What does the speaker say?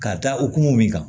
Ka taa okumu min kan